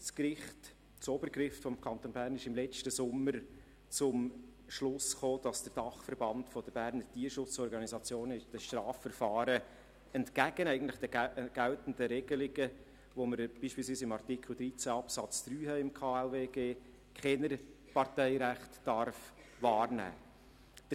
Das Obergericht des Kantons Bern kam letzten Sommer zum Schluss, dass der Dachverband Berner Tierschutzorganisationen (DBT) in den Strafverfahren eigentlich entgegen der geltenden Regelungen, wie wir sie beispielsweise in Artikel 13 Absatz 3 KLwG haben, keine Parteirechte wahrnehmen darf.